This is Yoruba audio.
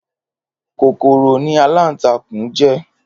Kókóró ni àlántàkún jè